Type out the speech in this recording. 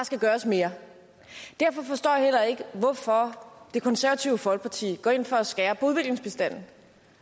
skal gøres mere derfor forstår jeg heller ikke hvorfor det konservative folkeparti går ind for at skære på udviklingsbistanden